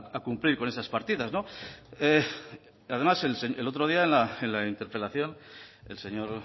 a cumplir con esas partidas además el otro día en la interpelación el señor